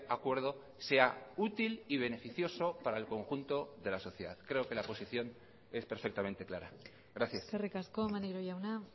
acuerdo sea útil y beneficioso para el conjunto de la sociedad creo que la posición es perfectamente clara gracias eskerrik asko maneiro jauna